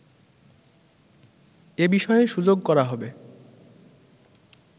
এ বিষয়ে সুযোগ করা হবে